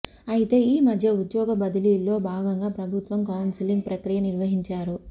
అయితే ఈ మధ్య ఉద్యోగ బదిలీల్లో భాగంగా ప్రభుత్వం కౌన్సిలింగ్ ప్రక్రియ నిర్వహించారు